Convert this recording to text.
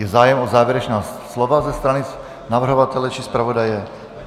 Je zájem o závěrečná slova ze strany navrhovatele či zpravodaje?